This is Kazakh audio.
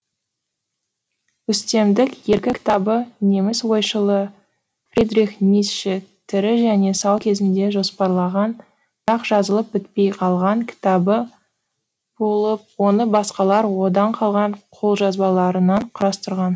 үстемдік еркі кітабы неміс ойшылы фридрих ницше тірі және сау кезінде жоспарлаған бірақ жазылып бітпей қалған кітабы болып оны басқалар одан қалған қолжазбаларынан құрастырған